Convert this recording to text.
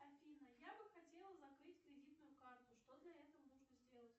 афина я бы хотела закрыть кредитную карту что для этого нужно сделать